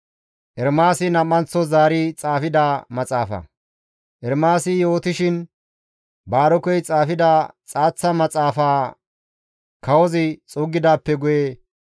Ermaasi yootishin Baarokey xaafida xaaththa maxaafa kawozi xuuggidaappe guye GODAA qaalay Ermaasakko yiidi,